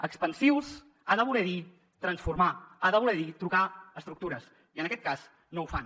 expansius ha de voler dir transformar ha de voler dir truncar estructures i en aquest cas no ho fan